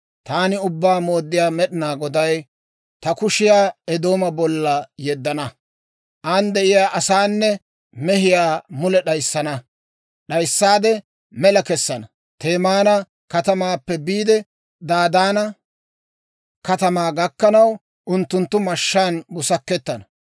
taani Ubbaa Mooddiyaa Med'inaa Goday ta kushiyaa Eedooma bolla yeddana. An de'iyaa asaanne mehiyaa mule d'ayissana; d'ayissaade mela kessana. Temaana katamaappe biide, Dadaana katamaa gakkanaw, unttunttu mashshaan busakettana.